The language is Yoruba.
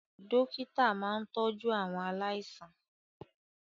Dókítà máa ń tọ́jú àwọn aláìsàn